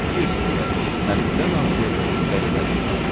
bir sözlə, həddən artıq qəribəlik var.